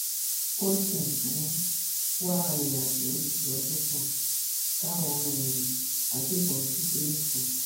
wọn sì ń um wá arìnrìnàjò méjìlélọgbọn táwọn um agbébọn jí gbé nifọn